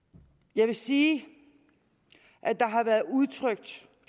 jeg vil sige at der har været udtrykt